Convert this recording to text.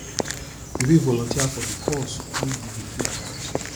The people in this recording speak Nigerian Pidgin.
you fit volunteer for di cause wey you dey care about